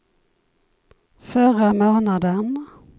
förra månaden